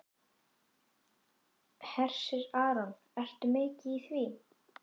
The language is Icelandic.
Hersir Aron: Ertu mikið í því?